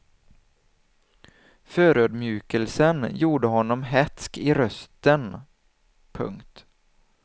Förödmjukelsen gjorde honom hätsk i rösten. punkt